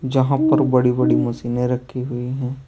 जहां पर बड़ी बड़ी मशीने रखी हुई हैं।